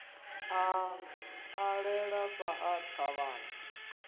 a ṱalela sa ḽa thavhani